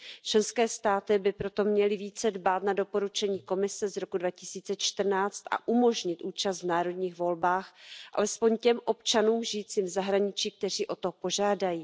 Členské státy by proto měly více dbát na doporučení Komise z roku 2014 a umožnit účast v národních volbách alespoň těm občanům žijícím v zahraničí, kteří o to požádají.